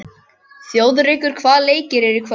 Þjóðrekur, hvaða leikir eru í kvöld?